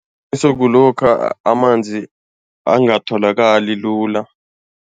kulokha amanzi angatholakali lula.